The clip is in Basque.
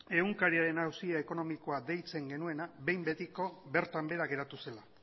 egunkariaren auzia ekonomikoa deitzen genuena behin betiko bertan behera geratu zela